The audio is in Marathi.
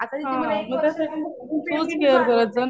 आता इथे मला एक वर्ष झालं.